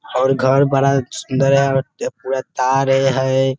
और घर बड़ा सुंदर है पूरा तार हैं ।